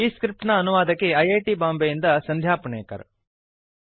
ಈ ಸ್ಕ್ರಿಪ್ಟ್ ನ ಅನುವಾದಕಿ ಐ ಐ ಟಿ ಬಾಂಬೆಯಿಂದ ಸಂಧ್ಯಾ ಪುಣೇಕರ್